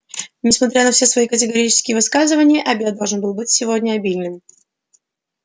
несмотря на все свои категорические высказывания обед должен быть сегодня обильным